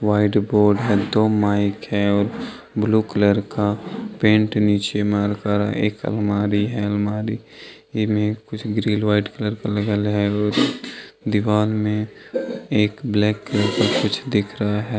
White board हैदो mic हैऔर blue colour का पेंट नीचे मारकर एक अलमारी हैअलमारी में कुछ लगल दीवार मे एक ब्लैक कलर का कुछ दिख रहा है।